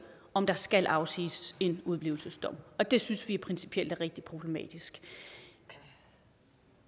om der skal afsiges en udeblivelsesdom og det synes vi principielt er rigtig problematisk